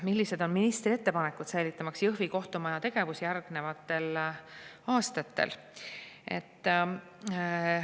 "Millised on ministri ettepanekud säilitamaks Jõhvi kohtumaja tegevus järgnevatel aastatel?